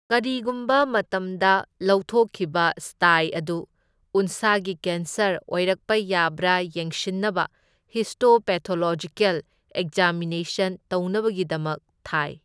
ꯀꯔꯤꯒꯨꯝꯕ ꯃꯇꯝꯗ ꯂꯧꯊꯣꯛꯈꯤꯕ ꯁ꯭ꯇꯥꯏ ꯑꯗꯨ ꯎꯟꯁꯥꯒꯤ ꯀꯦꯟꯁꯔ ꯑꯣꯏꯔꯛꯄ ꯌꯥꯕ꯭ꯔꯥ ꯌꯦꯡꯁꯤꯟꯅꯕ ꯍꯤꯁꯇꯣꯄꯦꯊꯣꯂꯣꯖꯤꯀꯦꯜ ꯑꯦꯛꯖꯥꯃꯤꯅꯦꯁꯟ ꯇꯧꯅꯕꯒꯤꯗꯃꯛ ꯊꯥꯏ꯫